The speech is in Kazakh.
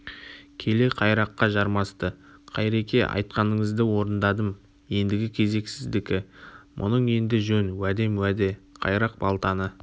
келе қайраққа жармасты қайреке айтқаныңызды орындадым еңдігі кезек сіздікі мұның енді жөн уәдем уеде қайрақ балтаны